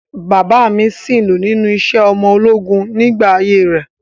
Bàbáà mi sìnlú nínú iṣẹ́ ọmọ ológun nígbà ayé rẹ̀.